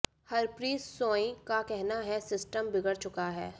हरप्रीत सोइं का कहना है सिस्टम बिगड़ चुका है